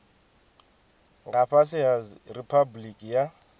nga fhasi ha riphabuliki ya